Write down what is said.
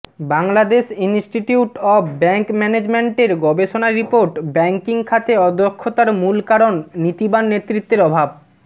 Bangladesh institute of bank ম্যানেজমেন্টের গবেষণা report banking খাতে অদক্ষতার মূল কারণ নীতিবান নেতৃত্বের অভাব